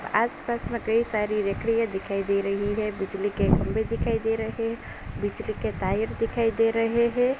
आस-पास में कई सारी लकड़ियाँ दिखाई दे रही है बिजली के खंबे दिखाई दे रहे। बिजली के दिखाई दे रहे हैं।